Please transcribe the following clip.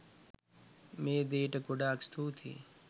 මේ දේට ගොඩාක් ස්තුතියි.